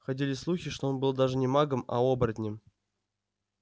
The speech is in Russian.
ходили слухи что он был даже не магом а оборотнем